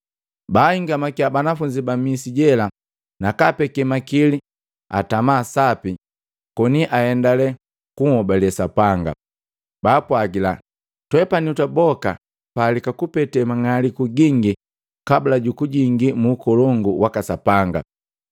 Baahingamakia banafunzi ba misi jela nakaapeke makili atama sapi koni ahendale kunhobale Sapanga. Baapwagila, “Twepani twaboka tupalika kupete mumang'aliku gingi kabula jukujingi mu Ukolongu waka Sapanga.”